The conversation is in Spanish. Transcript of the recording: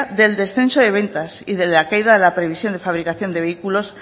del descenso de ventas y de la caída de la previsión de fabricación de vehículos